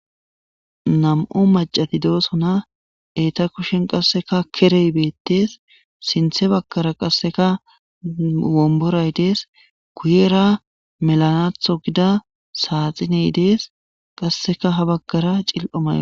Nam'u maccati de'osona etta kushen qasekka keqey bettes sinuhe bagara qasekka wombiray de'es.guyera melanatho gida saxiney de'es.qasekka ha bagara cimljlo mayoy de' es.